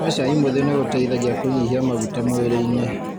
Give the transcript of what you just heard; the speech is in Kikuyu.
Kũnyua cai mwĩthi nĩ gũteithagia kũnyihia maguta mwĩrĩinĩ.